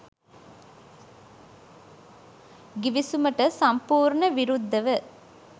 ගිවිසුමට සම්පූර්ණ විරුද්ධව